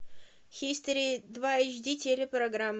хистори два эйч ди телепрограмма